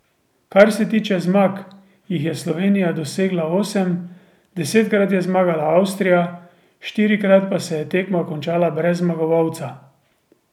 Kar se tiče zmag, jih je Slovenija dosegla osem, desetkrat je zmagala Avstrija, štirikrat pa se je tekma končala brez zmagovalca.